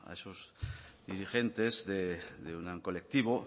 esos dirigentes de un colectivo